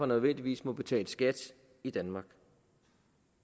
nødvendigvis må betale skat i danmark